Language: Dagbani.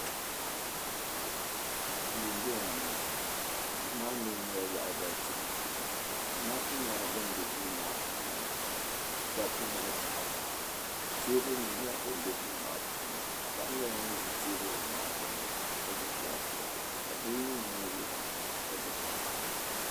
Duu m bo ŋɔ duu maa mi nyela lahabali tibu duu zamaatu nyela ban be duu maa puuni dabba ni paɣaba teebulinim nyela din be duu maa puuni ka paɣa nyela ŋun ʒi teebuli maa gbuni ka gbubi layitop ka do nye ŋun ʒiya ka gbubi pipa.